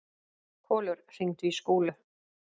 Kolur, hringdu í Skúlu.